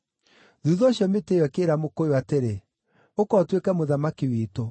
“Thuutha ũcio mĩtĩ ĩyo ĩkĩĩra mũkũyũ atĩrĩ, ‘Ũka ũtuĩke mũthamaki witũ.’